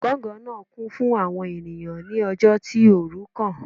Ọgangan naa kun fun awọn eniyan ni ọjọ ti oorun kan.